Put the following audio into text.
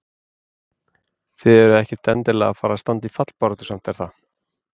Þið eruð ekkert endilega að fara að standa í fallbaráttu samt er það?